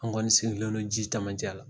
An kɔni sigilen don ji camancɛ la.